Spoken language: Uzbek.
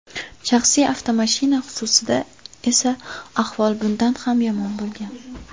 Shaxsiy avtomashina xususida esa ahvol bundan ham yomon bo‘lgan.